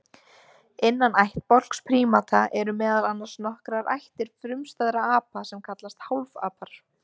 Innan ættbálks prímata eru meðal annars nokkrar ættir frumstæðra apa sem kallast hálfapar.